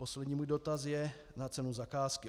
Poslední můj dotaz je na cenu zakázky.